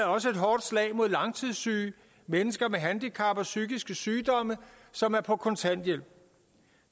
også et hårdt slag mod langtidssyge mennesker med handicap og psykiske sygdomme som er på kontanthjælp